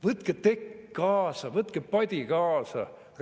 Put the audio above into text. Võtke tekk kaasa, võtke padi kaasa!